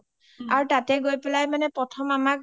আৰু তাতে হৈ পেলাই প্ৰথম আমাক